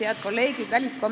Head kolleegid!